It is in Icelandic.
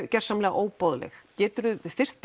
gersamlega óboðleg geturðu fyrst